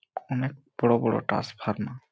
অনেক বড় বড় টাসফারমা --